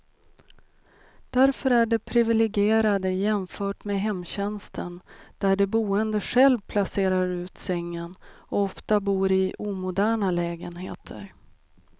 Därför är de priviligierade jämfört med hemtjänsten där de boende själv placerar ut sängen, och ofta bor i omoderna lägenheter.